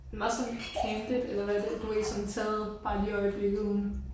Det meget sådan candit eller hvad det du ved ikke sådan taget bare lige i øjeblikket uden